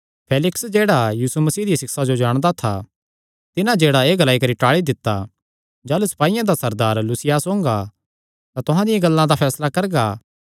फेलिक्स जेह्ड़ा यीशु मसीह दियां सिक्षां जाणदा था तिन्हां जेह्ड़ा एह़ ग्लाई करी टाल़ी दित्ता जाह़लू सपाईयां दा सरदार लूसियास ओंगा तां तुहां दियां गल्लां दा फैसला करगा